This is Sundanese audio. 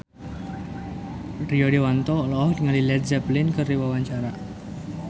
Rio Dewanto olohok ningali Led Zeppelin keur diwawancara